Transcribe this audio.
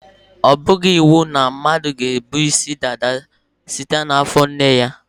Ọ bụghị iwu na mmadụ ga-ebu isi dada site n' afọ nne ya.